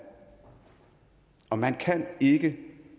og man kan ikke